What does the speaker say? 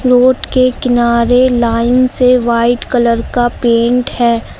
Road के किनारे line से वाइट कलर का पेंट है।